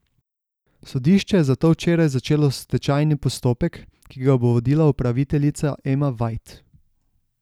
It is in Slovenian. Sodišče je zato včeraj začelo stečajni postopek, ki ga bo vodila upraviteljica Ema Vajt.